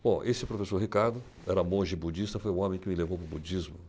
Bom, esse professor Ricardo, era monge budista, foi o homem que me levou para o budismo.